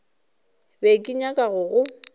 be ke nyaka go go